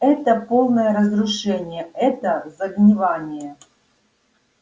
это полное разрушение это загнивание